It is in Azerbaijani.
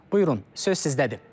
Buyurun, söz sizdədir.